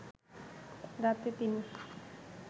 রাতে তিনি